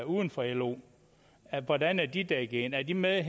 uden for lo hvordan er de dækket ind er de med